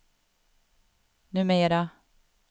numera